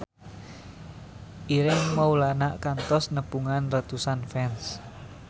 Ireng Maulana kantos nepungan ratusan fans